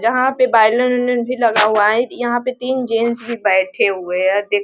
जहाँ पे violin - violin भी लगा हुआ है यहाँ पे तीन जेंट्स भी बैठे हुए हैं देख --